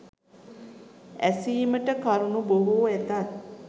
ඇසීමට කරුණු බොහෝ ඇතත්